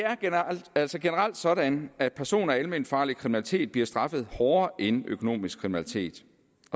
altså sådan at person og alment farlig kriminalitet bliver straffet hårdere end økonomisk kriminalitet